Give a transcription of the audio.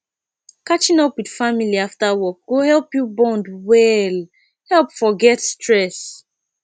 catching up with family after work go help you bond well help forget stress